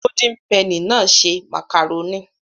Golden penny náà ṣe màkàrónì